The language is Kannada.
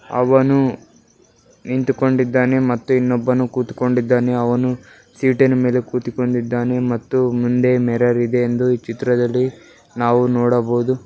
ಅವನೂ ನಿಂತುಕೊಂಡಿದ್ದಾನೆ ಮತ್ತು ಇನ್ನೊಬ್ಬನು ಕೂತುಕೊಂಡಿದ್ದಾನೆ ಅವನು ಸೀಟಿನ ಮೇಲೆ ಕೂತುಕೊಂಡಿದ್ದಾನೆ ಮತ್ತು ಮುಂದೆ ಮಿರರ್ ಇದೆ ಅಂತ ನಾವು ಈ ಚಿತ್ರದಲ್ಲಿ ನೋಡಬಹುದು.